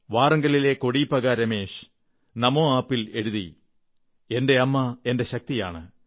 വാറംഗലിലെ Kodipaka Ramesh Namo app ൽ എഴുതി എന്റെ അമ്മ എന്റെ ശക്തിയാണ്